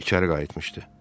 İçəri qayıtmışdı.